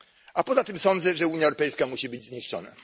A poza tym sądzę, że Unia Europejska musi być zniszczona.